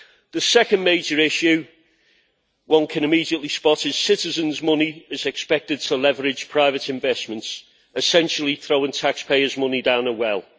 The second major issue one can immediately spot is that citizens' money is expected to leverage private investments, essentially throwing taxpayers' money down a well.